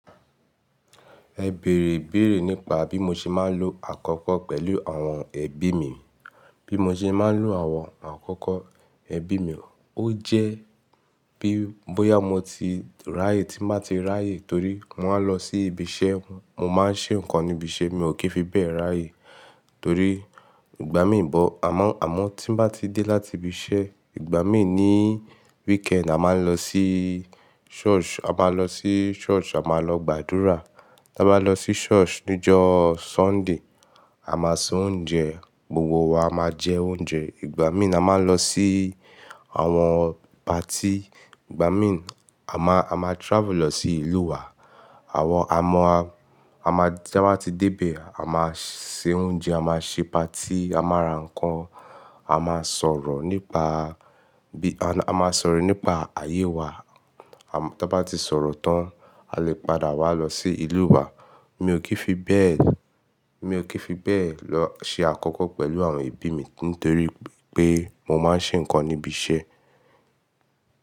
Ẹ bèrè ibèrè nípa bí mo ṣe máa ń lo àkókò pẹ̀lú àwọn ẹbí mi. Bí mo ṣe máa ń lo àwọn àkókò ẹbí mi, ó jẹ́ bí bóyá mo ti ráyè tí mbá ti ráyè torí mò ń lọ sí ibi iṣẹ́, mo máa ń ṣe nǹkan ní ibi iṣẹ́ mi, ò kí fi bẹ́ẹ̀ ráyè torí ìgbà mí bò àmọ́, àmọ́ tí nbá ti dé láti ibi iṣẹ́, ìgbà mí ní weekend, a máa ń lọ sí church, a máa lọ sí church, a máa lọ gbàdúrà. Bá lọ sí church níjọ́ Sunday, a máa se oúnjẹ, gbogbo wa a máa jẹ oúnjẹ. Ìgbà mí a máa ń lọ sí àwọn party, ìgbà mí a máa, a máa travel lọ sí ìlú wa. Àwọn, à mọ́ a, a máa tí abá ti dé ibẹ̀, a máa se oúnjẹ, a máa ṣe party, a máa ra nǹkan, a máa sọ̀rọ̀ nípa bí, a máa sọ̀rọ̀ nípa ayé wa. À bá tí sọ̀rọ̀ tán, a lè padà wá lọ sí ìlú wa. Mi ò kí fi bẹ́ẹ̀, mi ò kí fi bẹ́ẹ̀ lọ ṣe àkókò pẹ̀lú àwọn ẹbí mi torí pé mo máa ń ṣe nǹkan níbi iṣẹ́.